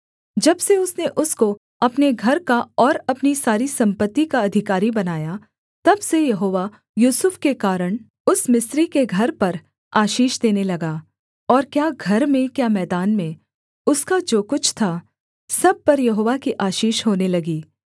जब से उसने उसको अपने घर का और अपनी सारी सम्पत्ति का अधिकारी बनाया तब से यहोवा यूसुफ के कारण उस मिस्री के घर पर आशीष देने लगा और क्या घर में क्या मैदान में उसका जो कुछ था सब पर यहोवा की आशीष होने लगी